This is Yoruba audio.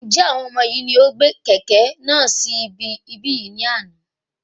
Njẹ àwọn ọmọ yìí ní ó gbé kẹ́kẹ̀ náà sì ibí yìí ní àna?